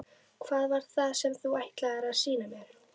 Hvað var það sem þú ætlaðir að sýna mér?